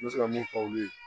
N bɛ se ka mun fɔ olu ye